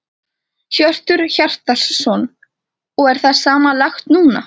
Hjörtur Hjartarson: Og er það sama lagt núna?